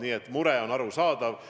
Nii et mure on arusaadav.